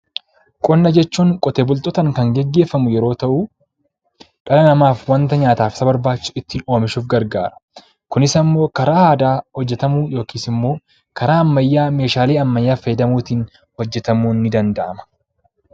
Qonna jechuun qotee bultootaan kan gaggeeffamu yeroo ta'u, dhala namaaf wanta nyaataaf isa barbaachisu ittiin oomishuuf gargaarudha. Kunis immoo karaa aadaa hojjetamuu yookiin immoo karaa ammayyaa meeshaalee ammayyaa fayyadamuun hojjetamuun ni danda'ama.